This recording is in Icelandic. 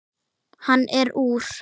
Hann er úr